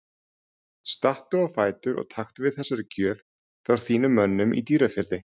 Stattu á fætur og taktu við þessari gjöf frá þínum mönnum í Dýrafirði.